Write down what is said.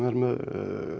með